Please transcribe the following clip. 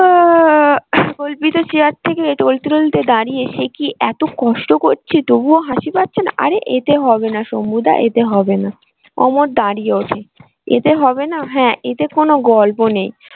কল্পিত চেয়ার থেকে টোলতে টোলতে দাঁড়িয়ে সে কি এতো কষ্ট করছি তবুও হাসি পাচ্ছে না? আরে এতে হবে না শম্ভু দা এতে হবে না। অমর দাঁড়িয়ে ওঠে এতে হবে না? হ্যাঁ এতে কোনো গল্প নেই।